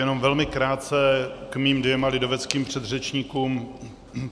Jenom velmi krátce k mým dvěma lidoveckým předřečníkům.